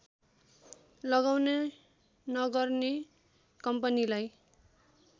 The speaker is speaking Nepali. लगाउने नगर्ने कम्पनीलाई